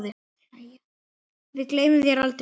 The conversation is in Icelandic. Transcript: Við gleymum þér aldrei.